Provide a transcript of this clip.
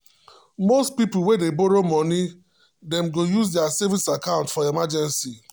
most people wey dey borrow money dem go use their saving account for emergency.